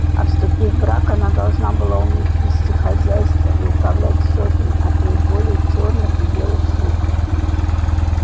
а вступив в брак она должна была уметь вести хозяйство и управлять сотней а то и больше черных и белых слуг